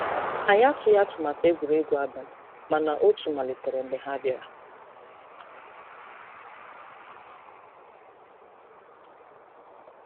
Anyị atụghị atụmatụ egwuregwu abalị, mana otu malitere mgbe ha bịara.